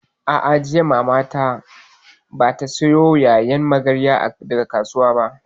A'a, jiya Mamana bata sayo ƴaƴan magarya daga kasuwa ba